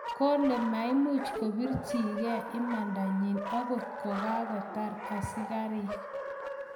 Kole maimuch kopir chi ge imanda nyi angot kokotaret askarik